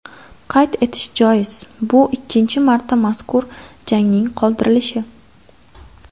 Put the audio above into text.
Qayd etish joiz, bu ikkinchi marta mazkur jangning qoldirilishi.